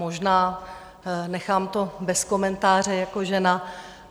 Možná, nechám to bez komentáře jako žena.